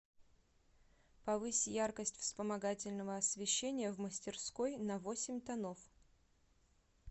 повысь яркость вспомогательного освещения в мастерской на восемь тонов